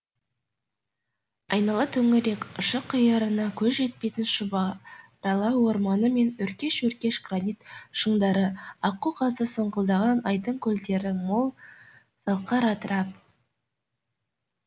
айнала төңірек ұшы қиырына көз жетпейтін шұбарала орманы мен өркеш өркеш гранит шыңдары аққу қазы сұңқылдаған айдын көлдері мол салқар атырап